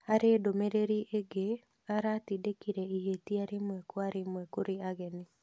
Harĩ ndũmĩrĩri ĩngĩ, aratindĩkire ihĩtia rĩmwe kwa rĩmwe kũrĩ ageni